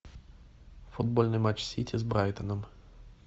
футбольный матч сити с брайтоном